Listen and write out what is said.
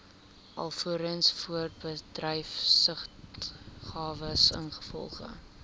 alvorens voorbedryfsuitgawes ingevolge